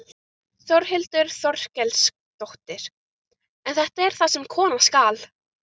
Þórhildur Þorkelsdóttir: En þetta er það sem koma skal?